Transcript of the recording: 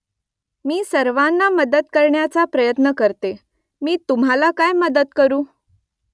मी सर्वांना मदत करण्याचा प्रयत्न करते . मी तुम्हाला काय मदत करू ?